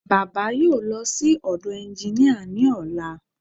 Baba yóò lọ sí ọ̀dọ̀ ẹnginíà ní ọ̀la